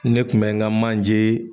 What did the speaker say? Ne kun bɛ n ka manje.